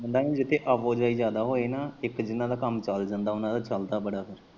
ਨਹੀਂ ਜਿੱਥੇ ਆਵਾਜਾਈ ਜਿਆਦਾ ਹੋਵੇ ਨਾ ਇੱਕ ਜੇਨਾ ਦਾ ਕੰਮ ਚੱਲ ਜਾਂਦਾ ਉਨਾਂ ਦਾ ਚੱਲਦਾ ਬੜਾ ਫੇਰ।